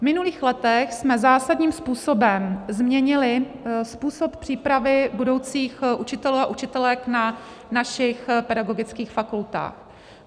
V minulých letech jsme zásadním způsobem změnili způsob přípravy budoucích učitelů a učitelek na našich pedagogických fakultách.